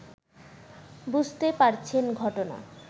বুঝতে পারছেন ঘটনা